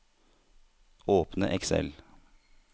Åpne Excel